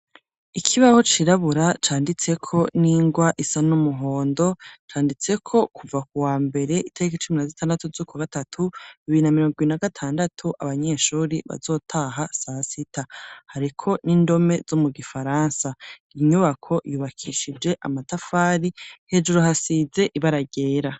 Ikibaho cirabura, canditse ko n'ingwa isa n'umuhondo, canditseko kuva ku wa mbere itarik' icumi na z'itandatu z'uko gatatu ibimbi bibiri n'a mirongo ibiri na gatandatu, abanyeshuri bazotaha sasita, hariko n'indome zo mu gifaransa inyubako yubakishije amatafari hejuru hasize ibara ryera.